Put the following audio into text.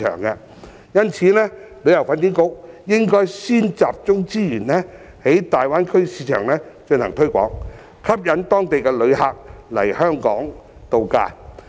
因此，旅發局應該先集中資源在大灣區市場進行推廣，吸引當地旅客來港度假。